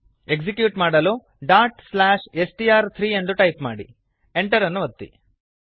execute ಮಾಡಲು str3 dot slash S T R three ಎಂದು type ಮಾಡಿ Enter ಅನ್ನು ಒತ್ತಿ